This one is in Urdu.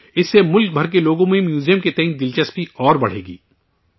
اس سے ملک بھر کے لوگوں میں میوزیم کو لے کر دلچسپی مزید بڑھے گی